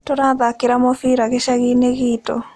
Tũrathakĩra mũbira gĩcagi-inĩ gitũ